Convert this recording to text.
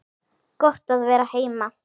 Gott að vera heima!